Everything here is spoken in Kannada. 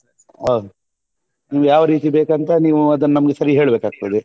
ಅಹ್ ನಿಮ್ಗೆ ಯಾವ್ ರೀತಿ ಬೇಕಂತ ನೀವ್ ಅದನ್ನ ನಮ್ಗೆ ಸರೀ ಹೇಳ್ಬೇಕಾಗ್ತದೆ